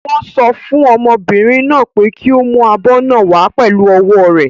Wọ́n sọ fún ọmọbìnrin náà pé kí ó mú abọ́ náà wàá pẹ̀lú ọwọ́ rẹ̀.